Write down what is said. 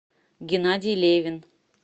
геннадий левин